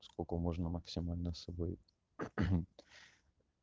сколько можно максимально с собой